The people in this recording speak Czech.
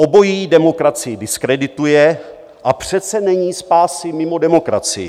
Obojí demokracii diskredituje, a přece není spásy mimo demokracii.